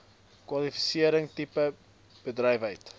kwalifisering tipe bedrywighede